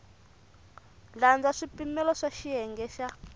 landza swipimelo swa xiyenge xa